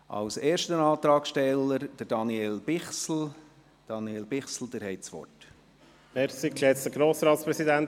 Als erster Antragsteller hat Daniel Bichsel das Wort.